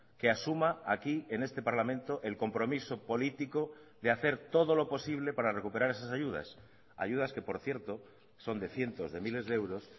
que asuma aquí en este parlamento el compromiso político de hacer todo lo posible para recuperar esas ayudas ayudas que por cierto son de cientos de miles de euros